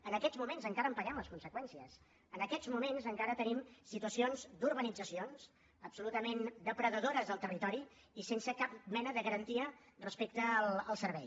en aquests moments encara en paguem les conseqüències en aquests moments encara tenim situacions d’urbanitzacions absolutament depredadores del territori i sense cap mena de garantia respecte al servei